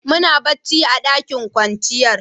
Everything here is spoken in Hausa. Muna bacci a ɗakin kwanciyar.